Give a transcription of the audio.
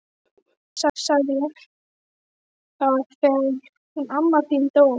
Jú sagði ég, það var þegar hún amma þín dó